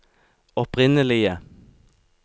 opprinnelige